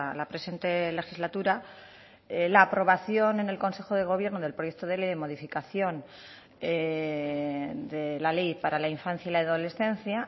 la presente legislatura la aprobación en el consejo de gobierno del proyecto de ley de modificación de la ley para la infancia y la adolescencia